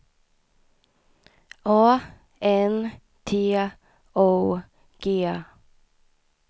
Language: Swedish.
A N T O G